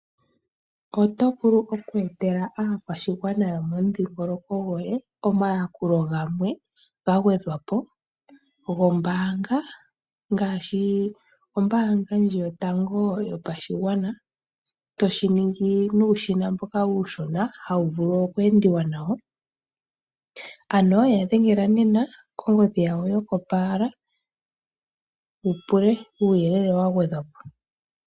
Oto vulu okweetela aakwashigwana yomomudhingoloko gwoye omayakulo gamwe ga gwedhwa po gombaanga ngaashi gombaanga yotango yopashigwana, to shi ningi nuushina mboka uushona hawu vulu okweendiwa nawo. Ano ya dhengela nena kongodhi yawo yokopaala, wu pule uuyelele wa gwedhwa po.